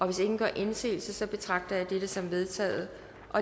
hvis ingen gør indsigelse betragter jeg dette som vedtaget